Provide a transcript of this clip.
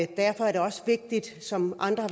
derfor er det også vigtigt som andre